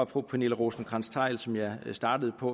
fru pernille rosenkrantz theil som jeg startede på